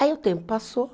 Aí o tempo passou.